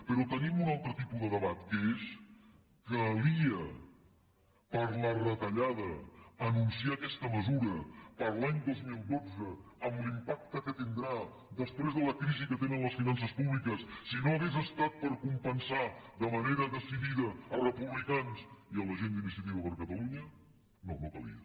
però tenim un altre tipus de debat que és calia per la retallada anunciar aquesta mesura per a l’any dos mil dotze amb l’impacte que tindrà després de la crisi que tenen les finances públiques si no hagués estat per compensar de manera decidida els republicans i la gent d’iniciativa per catalunya no no calia